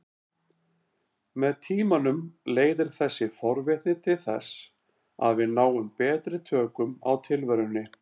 Með tímanum leiðir þessi forvitni til þess að við náum betri tökum á tilverunni.